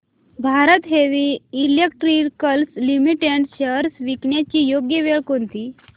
Bharat heavy electricals limited shares विकण्याची योग्य वेळ कोणती